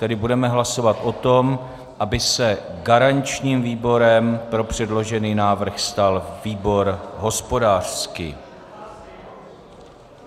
Tedy budeme hlasovat o tom, aby se garančním výborem pro předložený návrh stal výbor hospodářský.